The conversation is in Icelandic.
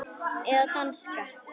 Eða danska.